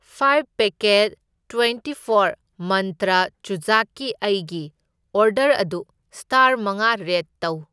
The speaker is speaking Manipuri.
ꯐꯥꯢꯐ ꯄꯦꯀꯦꯠ ꯇ꯭ꯋꯦꯟꯇꯤꯐꯣꯔ ꯃꯟꯇ꯭ꯔ ꯆꯨꯖꯥꯛꯀꯤ ꯑꯩꯒꯤ ꯑꯣꯔꯗꯔ ꯑꯗꯨ ꯁꯇꯥꯔ ꯃꯉꯥ ꯔꯦꯠ ꯇꯧ꯫